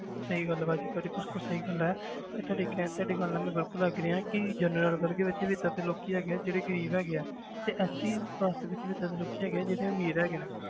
ਸਹੀ ਗੱਲ ਹੈ ਭਾਜੀ ਤੁਹਾਡੀ ਬਿਲਕੁਲ ਸਹੀ ਗੱਲ ਹੈ ਇਹ ਤਾਂ ਦੇਖਿਆ ਹੈ ਤੁਹਾਡੀ ਗੱਲ ਨਾਲ ਮੈਂ ਬਿਲਕੁਲ agree ਹਾਂ ਕਿ general ਵਰਗ ਵਿੱਚ ਵੀ ਏਦਾਂ ਦੇ ਲੋਕੀ ਹੈਗੇ ਆ ਜਿਹੜੇ ਗ਼ਰੀਬ ਹੈਗੇ ਆ ਤੇ SC caste ਵਿੱਚ ਵੀ ਏਦਾਂ ਦੇ ਲੋਕੀ ਹੈਗੇ ਜਿਹੜੇ ਅਮੀਰ ਹੈਗੇ ਆ